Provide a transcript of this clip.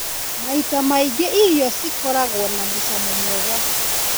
Maita maingĩ, irio cikoragwo na mũcamo mwega.